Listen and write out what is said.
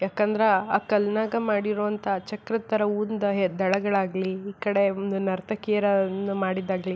ಯಾಕಂದ್ರ ಆ ಕಲ್ಲಿನಾಗ ಮಾಡಿರುವಂಥ ಚಕ್ರದ್ ತರ ಒಂದ್ ದಳಗಳಾಗ್ಲಿ ಈ ಕಡೆ ಒಂದು ನರ್ತಕಿಯರ ಒಂದ್ ಇದು ಮಾಡೋದಾಗ್ಲಿ.